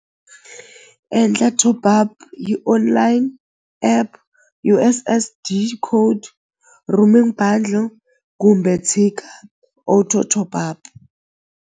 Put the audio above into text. Endla top up hi online app U_S_S_D code roaming bundle kumbe tshika auto top up.